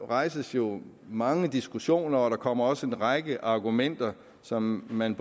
rejses jo mange diskussioner og der kommer også en række argumenter som man